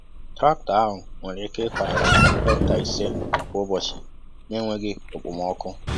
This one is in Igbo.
Traktọ ahụ nwere ike ịkọ ala hekta ise kwa ụbọchị na-enweghị okpomọkụ.